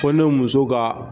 Fɔ ne muso ka